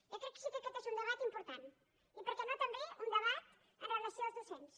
jo crec que sí que aquest és un debat important i per què no també un debat amb relació als docents